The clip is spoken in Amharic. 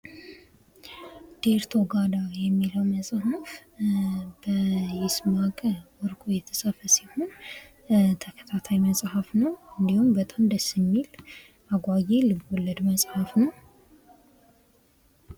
ዴርቶ ጋዳ የሚለው መጽሐፍ በይስማከ ወርቁ የተፃፈ ሲሆን ተከታታይ መጽሐፍ ነው። እንዲሁም በጣም ደስ የሚል አጓጌ ልብ ወለድ መፀሐፍ ነው።